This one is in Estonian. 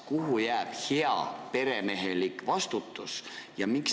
Kuhu jääb heaperemehelik vastutus?